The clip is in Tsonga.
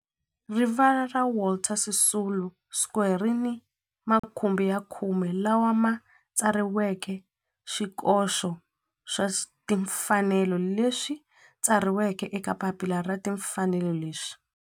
Rivala ra Walter Sisulu Square ri ni makhumbi ya khume lawa ma tsariweke swikoxo swa timfanelo leswi tsariweke eka papila ra timfanelo leswi